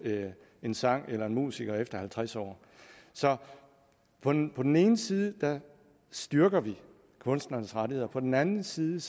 en sang eller en musiker efter halvtreds år så på den den ene side styrker vi kunstnernes rettigheder og på den anden side